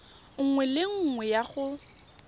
nngwe le nngwe ya go